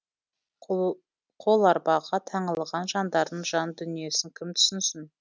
қоларбаға таңылған жандардың жан дүниесін кім түсінсін